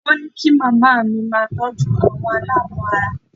Wọ́n ní kí màmá mi máa tọ́jú àwọn aláàbọ̀ ara